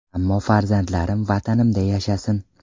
Ammo farzandlarim Vatanimda yashasin”.